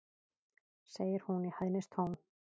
segir hún í hæðnistón.